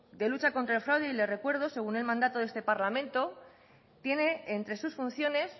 de lucha contra el fraude y la recuerdo según el mandato de este parlamento tiene entre sus funciones